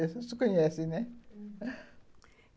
Isso tu conhece, né? uhum.